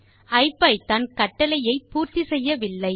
ஐபிதான் கட்டளையை பூர்த்தி செய்யவில்லை